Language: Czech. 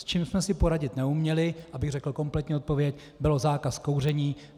S čím jsme si poradit neuměli - abych řekl kompletní odpověď - byl zákaz kouření.